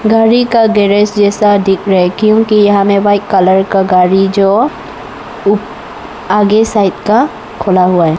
गाड़ी का गैरेज जैसा दिख रहा है क्योंकि यह हमें व्हाइट कलर का गाड़ी जो उ आगे साइड का खुला हुआ है।